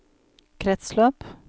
kretsløp